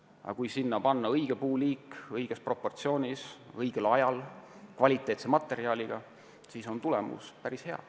Aga kui uuendusraie alale panna kasvama õige puuliik, teha seda õiges proportsioonis ja õigel ajal ning kasutada kvaliteetset materjali, siis võib tulemus olla päris hea.